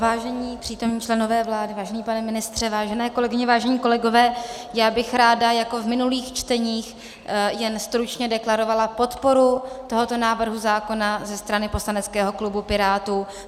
Vážení přítomní členové vlády, vážený pane ministře, vážené kolegyně, vážení kolegové, já bych ráda jako v minulých čteních jen stručně deklarovala podporu tohoto návrhu zákona ze strany poslaneckého klubu Pirátů.